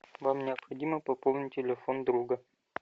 вам необходимо пополнить телефон друга